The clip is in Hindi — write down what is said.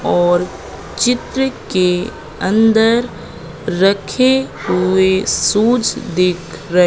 और चित्र के अंदर रखे हुए शूज दिख र--